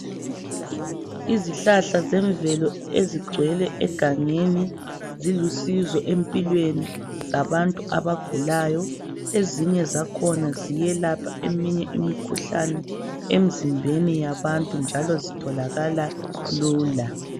Izihlahla zemvelo ezigcwele egangeni zilusizo empilweni zabantu abagulayo ezinye zakhona ziyelapha eminye imikhuhlane emizimbeni yabantu njalo zitholakala lula.